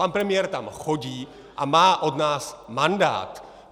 Pan premiér tam chodí a má od nás mandát!